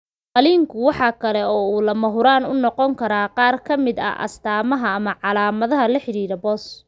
Qalliinku waxa kale oo uu lagama maarmaan u noqon karaa qaar ka mid ah astamaha ama calaamadaha la xidhiidha BOS.